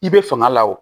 I bɛ fanga la o